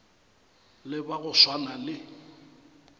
le ba go swana le